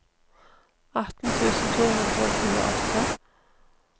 atten tusen to hundre og tjueåtte